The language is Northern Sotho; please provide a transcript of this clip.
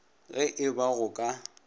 ge e ba go ka